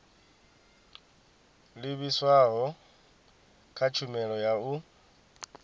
livhiswaho kha tshumelo ya u